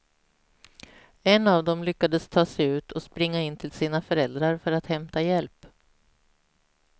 En av dem lyckades ta sig ut och springa in till sina föräldrar för att hämta hjälp.